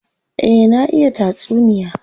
Eh, na iya tatsuniya.